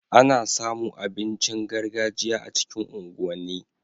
Ana samu abincin gargajiya a cikin unguwan ni